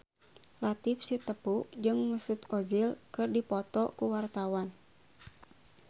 Latief Sitepu jeung Mesut Ozil keur dipoto ku wartawan